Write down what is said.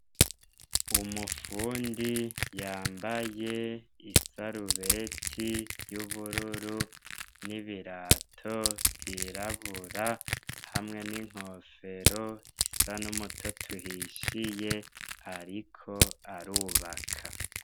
Umufundi yambaye isarubeti y’ubururu n’ibirato vyirabura hamwe n’inkofero isa n’umutoto uhishiye ariko arubaka.